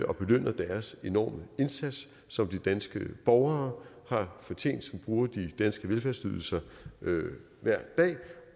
og belønne deres enorme indsats som de danske borgere har fortjent som bruger de danske velfærdsydelser hver dag